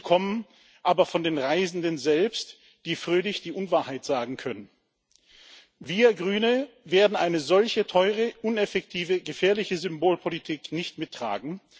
Diese kommen aber von den Reisenden selbst, die fröhlich die Unwahrheit sagen können. Wir Grüne werden solch eine teure, uneffektive, gefährliche Symbolpolitik nicht mittragen.